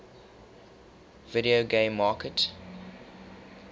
video game market